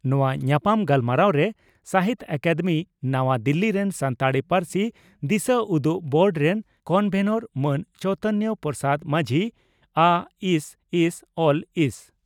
ᱱᱚᱣᱟ ᱧᱟᱯᱟᱢ ᱜᱟᱞᱢᱟᱨᱟᱣᱨᱮ ᱥᱟᱦᱤᱛᱭᱚ ᱟᱠᱟᱫᱮᱢᱤ, ᱱᱟᱣᱟ ᱫᱤᱞᱤ ᱨᱮᱱ ᱥᱟᱱᱛᱟᱲᱤ ᱯᱟᱹᱨᱥᱤ ᱫᱤᱥᱟᱹᱩᱫᱩᱜ ᱵᱳᱨᱰ ᱨᱮᱱ ᱠᱚᱱᱵᱷᱮᱱᱚᱨ ᱢᱟᱱ ᱪᱚᱭᱤᱛᱚᱱ ᱯᱨᱚᱥᱟᱫᱽ ᱢᱟᱹᱡᱷᱤ, ᱟᱹᱥᱹᱥᱹᱞᱹᱥᱹ